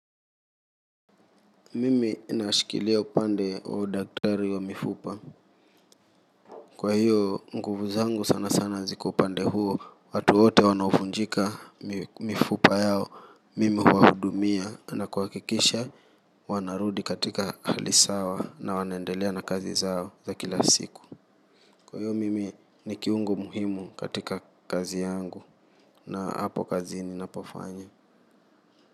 Mimi nashikilia upande wa udaktari wa mifupa. Kwa hiyo nguvu zangu sana sana ziko upande huo. Watu wote wanaovunjika mifupa yao. Mimi huwahudumia na kuhakikisha wanarudi katika hali sawa na wanaendelea na kazi zao za kila siku kwa hiyo mimi ni kiungo muhimu katika kazi yangu na hapo kazi ninapofanya.